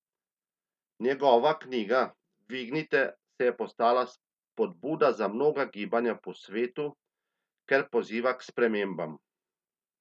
Njegova knjiga Dvignite se je postala spodbuda za mnoga gibanja po svetu, ker poziva k spremembam.